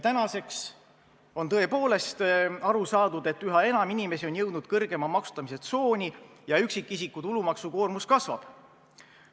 Tänaseks on tõepoolest aru saadud, et üha enam inimesi on jõudnud kõrgema maksustamise tsooni ja üksikisiku tulumaksukoormus kasvab.